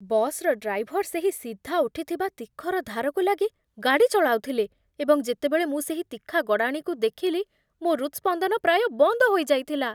ବସ୍‌ର ଡ୍ରାଇଭର ସେହି ସିଧା ଉଠିଥିବା ତିଖର ଧାରକୁ ଲାଗି ଗାଡ଼ି ଚଳାଉଥିଲେ, ଏବଂ ଯେତେବେଳେ ମୁଁ ସେହି ତିଖା ଗଡ଼ାଣିକୁ ଦେଖିଲି, ମୋ ହୃତ୍ସ୍ପନ୍ଦନ ପ୍ରାୟ ବନ୍ଦ ହୋଇଯାଇଥିଲା।